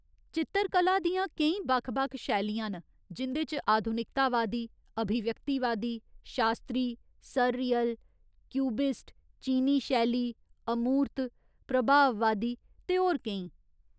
चित्तरकला दियां केईं बक्ख बक्ख शैलियां न जिं'दे च आधुनिकतावादी, अभिव्यक्तिवादी, शास्तरी, सररियल, क्यूबिस्ट, चीनी शैली, अमूर्त, प्रभाववादी, ते होर केईं।